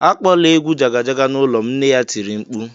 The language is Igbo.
"Akpọla egwu Jaga Jaga n'ụlọ m!" Nna ya tiri mkpu